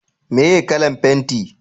meye kalan fenti?